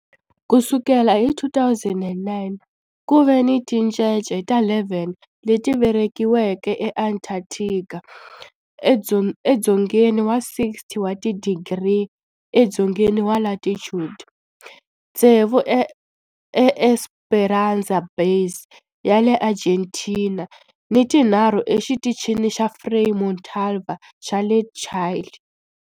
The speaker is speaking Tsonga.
Ku sukela hi 2009, ku ve ni tincece ta 11 leti velekiweke eAntarctica, edzongeni wa 60 wa tidigri edzongeni wa latitude, tsevu eEsperanza Base ya le Argentina ni tinharhu eXitichini xa Frei Montalva xa le Chile.